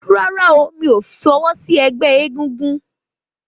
Rárá o, mí ò fọwọ́ sí ẹgbẹ́ egúngún